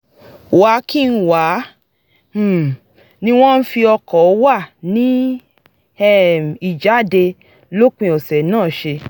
wà-kí-n-wà um ni wọ́n fi o̩kò̩ wà ní um ìjáde lópin ọ̀sẹ̀ náà s̩e